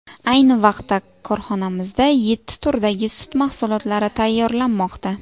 Ayni vaqtda korxonamizda yetti turdagi sut mahsulotlari tayyorlanmoqda.